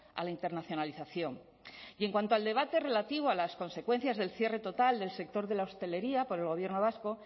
a la internacionalización y en cuanto al debate relativo a las consecuencias del cierre total del sector de la hostelería por el gobierno vasco